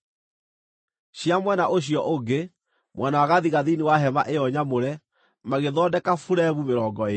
Cia mwena ũcio ũngĩ, mwena wa gathigathini wa hema ĩyo nyamũre, magĩthondeka buremu mĩrongo ĩĩrĩ